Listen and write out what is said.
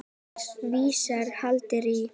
Svíar héldu í